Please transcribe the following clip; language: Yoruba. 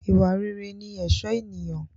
Ìwà rere ni ẹ̀ṣọ́ ènìyàn